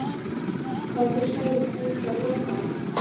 Hvað viltu segja um slík lokaorð?